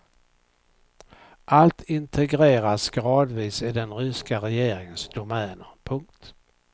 Allt integreras gradvis i den ryska regeringens domäner. punkt